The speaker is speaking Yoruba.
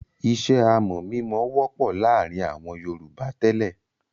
Iṣẹ́ amọ̀-mímọ wọ́pọ̀ láàárin àwọn Yorùbá tẹ́lẹ̀.